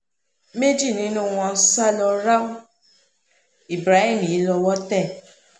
méjì nínú wọn sá lọ ráú ibrahim yìí ní owó tẹ̀